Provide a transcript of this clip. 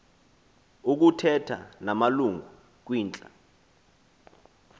ukuthetha namalungu kwintla